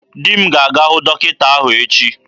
Dimma ga-aga hụ dọkịta ahụ echi.